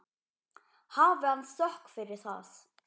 Hafi hann þökk fyrir það.